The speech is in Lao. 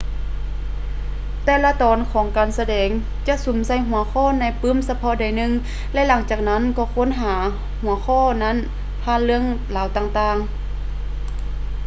ແຕ່ລະຕອນຂອງການສະແດງຈະສຸມໃສ່ຫົວຂໍ້ໃນປື້ມສະເພາະໃດໜຶ່ງ ແລະ ຫຼັງຈາກນັ້ນກໍຄົ້ນຫາຫົວຂໍ້ນັ້ນຜ່ານເລື່ອງລາວຕ່າງໆ